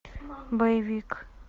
боевик